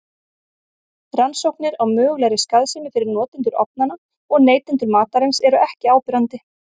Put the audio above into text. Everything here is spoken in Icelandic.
Rannsóknir á mögulegri skaðsemi fyrir notendur ofnanna og neytendur matarins eru ekki áberandi.